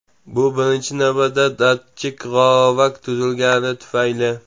Bu birinchi navbatda datchik g‘ovak tuzilgani tufayli.